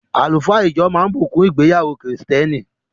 Àlùfáà ijọ máa bùkún ìgbéyàwó kìrìtẹ́nì.